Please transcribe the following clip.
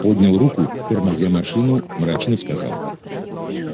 поднял руку тормозя машину мрачно сказал